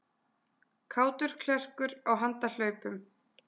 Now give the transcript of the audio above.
Kátur klerkur á handahlaupum